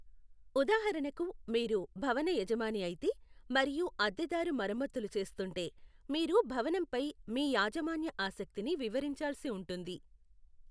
ఉదాహరణకు, మీరు భవన యజమాని అయితే మరియు అద్దెదారు మరమ్మతులు చేస్తుంటే, మీరు భవనంపై మీ యాజమాన్య ఆసక్తిని వివరించాల్సి ఉంటుంది.